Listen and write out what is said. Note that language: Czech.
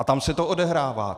A tam se to odehrává!